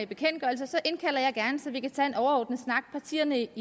bekendtgørelser så indkalder jeg gerne så vi kan tage en overordnet snak partierne